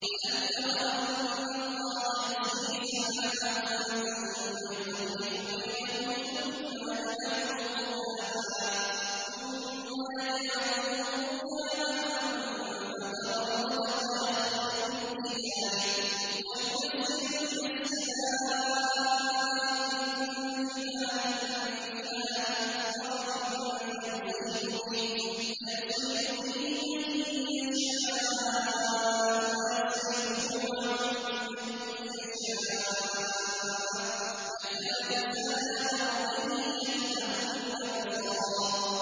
أَلَمْ تَرَ أَنَّ اللَّهَ يُزْجِي سَحَابًا ثُمَّ يُؤَلِّفُ بَيْنَهُ ثُمَّ يَجْعَلُهُ رُكَامًا فَتَرَى الْوَدْقَ يَخْرُجُ مِنْ خِلَالِهِ وَيُنَزِّلُ مِنَ السَّمَاءِ مِن جِبَالٍ فِيهَا مِن بَرَدٍ فَيُصِيبُ بِهِ مَن يَشَاءُ وَيَصْرِفُهُ عَن مَّن يَشَاءُ ۖ يَكَادُ سَنَا بَرْقِهِ يَذْهَبُ بِالْأَبْصَارِ